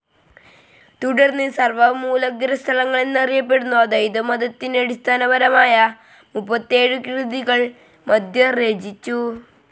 തുടർന്ന് സർവ്വമൂലഗ്രന്ഥങ്ങളെന്നറിയപ്പെടുന്ന ദ്വൈതമതത്തിന്നടിസ്ഥാനപരമായ മുപ്പത്തിയേഴു കൃതികൾ മധ്വർ രചിചു.